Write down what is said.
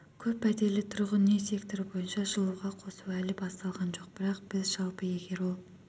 көп пәтерлі тұрғын үй секторы бойынша жылуға қосу әлі басталған жоқ бірақ біз жалпы егер ол